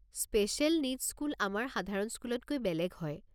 Special needs school আমাৰ সাধাৰণ স্কুলতকৈ বেলেগ হয়।